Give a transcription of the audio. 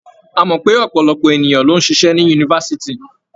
A mọ̀ pé ọ̀pọ̀lọpọ̀ ènìyàn ló ń ṣiṣẹ́ ní yunifásitì.